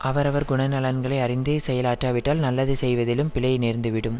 அவர் அவர் குணநலன்களை அறிந்தே செயல் ஆற்றாவிட்டால் நல்லது செய்வதிலும் பிழை நேர்ந்து விடும்